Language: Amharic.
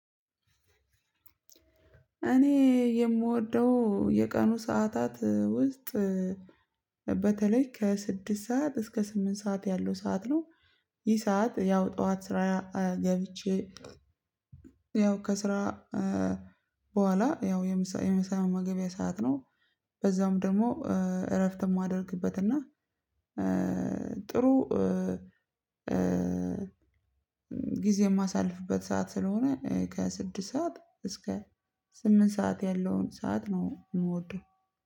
እኔ የምወደው የቀኑ ሰዓታት ውስጥ በተለይ ከስድስት ሰዓት እስከ ስምንት ሰዓት ያለው ሰዓት ነው። ይህ ሰዓት ያው ጠዋት ስራ ገብቼ ያው ከስራ በኋላ ያው የምሳ መመገቢያ ሰዓት ነው። በዛውም ደግሞ እረፍት የማደርግበት እና ጥሩ ጊዜ የማሳልፍበት ሰዓት ስለሆነ ከስድስት ሰዓት እስከ ስምንት ሰዓት ያለውን ሰዓት ነው የምወደው